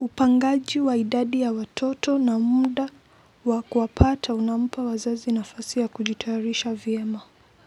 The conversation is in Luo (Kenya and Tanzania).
Upangaji wa idadi ya watoto na muda wa kuwapata unampa wazazi nafasi ya kujitayarisha vyema.